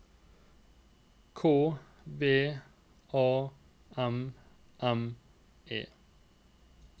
K V A M M E